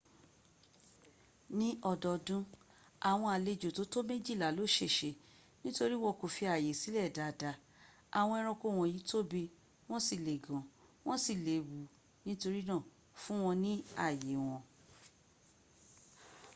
ní ọdọdún àwọn àlejo tó tó méjìlá ló ṣèṣe nítorí wọn kò fi àyè sílẹ̀ dáadáa àwọn eranko wọ́nyí tóbí wọ́n sí le gan wan sí léwu nítorínà fún wọ́n ní àyè wọn